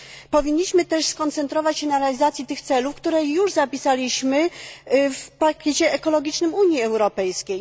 Powinniśmy też skupić się na realizacji tych celów, które już zapisaliśmy w pakiecie ekologicznym Unii Europejskiej.